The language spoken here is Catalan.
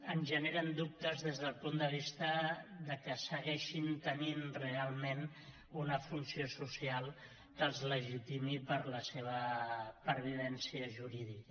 ens generen dubtes des del punt de vista que segueixin tenint realment una funció social que els legitimi per a la seva pervivència jurídica